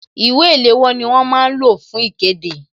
Ìwé ìléwọ́ ni wọ́n máa ń lò fún ikede